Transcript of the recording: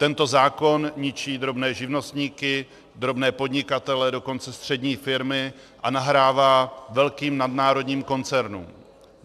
Tento zákon ničí drobné živnostníky, drobné podnikatele, dokonce střední firmy a nahrává velkým nadnárodním koncernům.